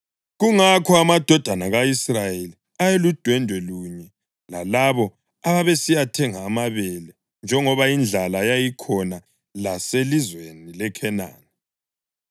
Kungakho amadodana ka-Israyeli ayeludwendwe lunye lalabo ababesiyathenga amabele njengoba indlala yayikhona laselizweni leKhenani.